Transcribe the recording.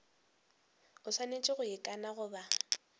a swanetše go ikana goba